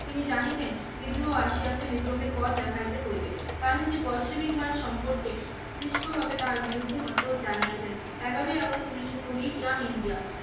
তিনি জানিতেন বিদ্রোহ আসিয়াছে, বিদ্রোহকে পথ দেখাইতে হইবে। গান্ধীজি বল সেবিকবাদ সম্পর্কে সৃষ্টভাবে তাহার বিরুদ্ধ মতও জানিয়াছেন- এগারোই আগস্ট উনিশশো কুড়ি ইয়ং ইন্ডিয়া।